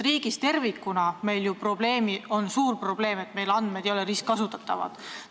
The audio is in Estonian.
Riigis tervikuna on meil ju suur probleem, et andmed ei ole ristkasutatavad.